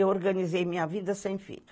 Eu organizei minha vida sem filho.